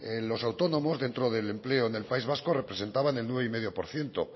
los autónomos dentro del empleo en el país vasco representaban el nueve coma cinco por ciento